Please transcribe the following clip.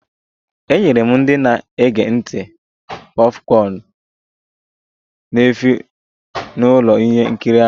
E nyere ndị na-ege ntị popcorn n'efu n'ụlọ ihe nkiri ahụ